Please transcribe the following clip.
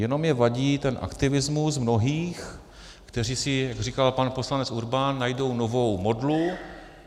Jenom mi vadí ten aktivismus mnohých, kteří si, jak říkal pan poslanec Urban, najdou novou modlu.